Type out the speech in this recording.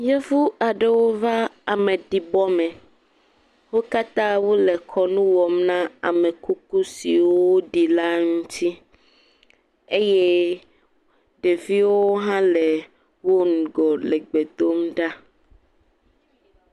Yevu aɖeo va ameɖibɔ me. Wo katã wo le kɔnu wɔm na amekuku siwo ɖi la ŋuti. Eye ɖeviwo hã le wo ŋgɔ le gbe dom ɖa.